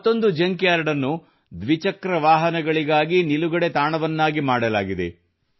ಮತ್ತೊಂದು junk yard ಅನ್ನು ದ್ವಿಚಕ್ರ ವಾಹನಗಳಿಗಾಗಿ ನಿಲುಗಡೆ ತಾಣವನ್ನಾಗಿ ಮಾಡಲಾಗಿದೆ